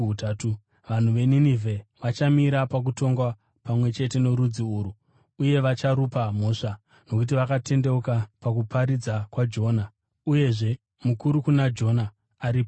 Vanhu veNinevhe vachamira pakutongwa pamwe chete norudzi urwu uye vacharupa mhosva; nokuti vakatendeuka pakuparidza kwaJona, uye zvino mukuru kuna Jona ari pano.